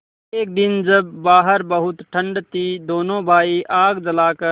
एक दिन जब बाहर बहुत ठंड थी दोनों भाई आग जलाकर